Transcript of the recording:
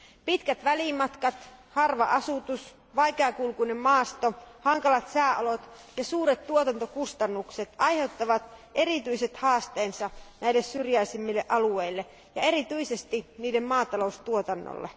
Pitkät välimatkat, harva asutus, vaikeakulkuinen maasto, hankalat sääolot ja suuret tuotantokustannukset aiheuttavat erityiset haasteensa näille syrjäisimmille alueille ja erityisesti niiden maataloustuotannolle.